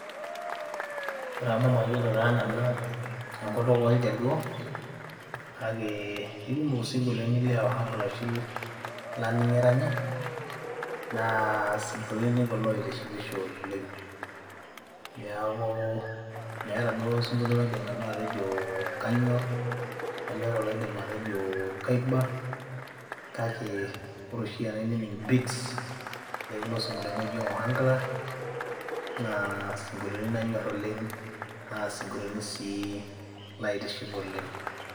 Ore amu mayiolo taa nanu enkutuk oljaluo kake ke kumok ising'olioti le Ohang'ala oshi laning' eranyi naa sing'oliotin kulo oitishipisho oleng'. Neeku meeta duo osing'olio laidim nanu atejo kanyor, nemeeta duo olaidim atejo kaiba kake ore oshi enainining' beats o kulo sing'olioitin oji ohang'la naa sing'olitin lanyor oleng' naa siong'olioitin sii laitiship oleng'.